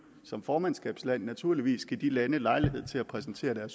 som formandskabsland naturligvis give de lande lejlighed til at præsentere